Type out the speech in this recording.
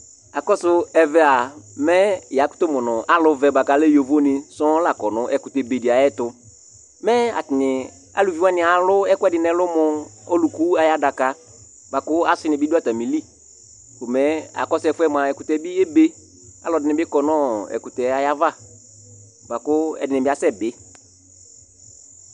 Alʋvɛni kʋ alɛ yovoni sɔ la kɔ ŋu ɛkʋtɛ be ɖi ayʋɛtu Alʋvi waŋi alu ɛkʋɛɖi ŋu ɛlu mʋ ɔlʋku ayʋ aɖaka Asini bi ɖu atamìli Ɛkʋtɛ bi ebe Alʋɛdìní bi kɔ ŋu ɛkʋtɛ ava kʋ ɛɖìní asɛbi